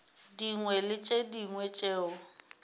dingwe le tše dingwe tšeo